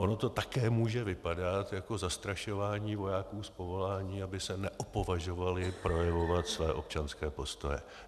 Ono to také může vypadat jako zastrašování vojáků z povolání, aby se neopovažovali projevovat své občanské postoje.